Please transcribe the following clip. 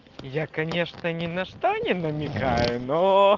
я конечно не на что не намекаю но